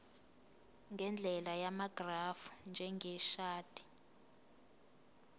ngendlela yamagrafu njengeshadi